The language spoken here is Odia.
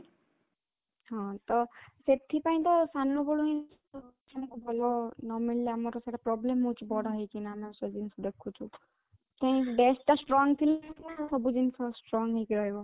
ହଁ, ତ ସାନ ବେଳୁ ହିଁ ଭଲ ନ ମିଳିଲା ଆମର ସେଟା problem ହଉଛି ବଡ଼ ହେଇକିନା ଆମର ସେ ଜିନିଷ ଦେଖୁଚୁ କି brain ଟା strong ଥିଲେ ସିନା ସବୁ ଜିନିଷ strong ହେଇକି ରହିବ